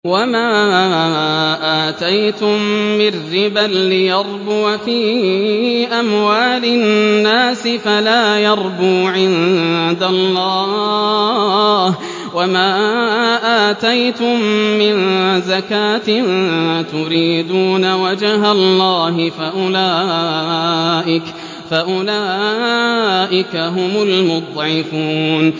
وَمَا آتَيْتُم مِّن رِّبًا لِّيَرْبُوَ فِي أَمْوَالِ النَّاسِ فَلَا يَرْبُو عِندَ اللَّهِ ۖ وَمَا آتَيْتُم مِّن زَكَاةٍ تُرِيدُونَ وَجْهَ اللَّهِ فَأُولَٰئِكَ هُمُ الْمُضْعِفُونَ